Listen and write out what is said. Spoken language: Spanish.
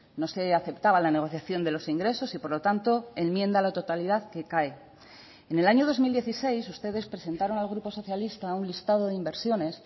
no se aceptaba la negociación de los ingresos y por lo tanto enmienda a la totalidad que cae en el año dos mil dieciséis ustedes presentaron al grupo socialista un listado de inversiones